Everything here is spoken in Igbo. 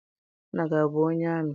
Nna gị abụ onye amị?